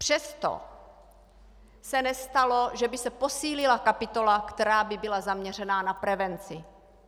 Přesto se nestalo, že by se posílila kapitola, která by byla zaměřena na prevenci.